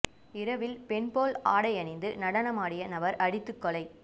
இரவில் பெண் போல ஆடை அணிந்து நடமாடிய நபர் அடித்துக் கொலை